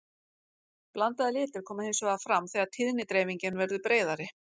blandaðir litir koma hins vegar fram þegar tíðnidreifingin verður breiðari